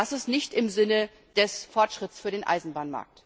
Das ist nicht im Sinne des Fortschritts für den Eisenbahnmarkt.